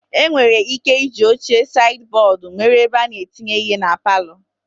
E nwere ị́ké ịji oche saidi bọọdu mere ebe a na-etinye ihe na palọ.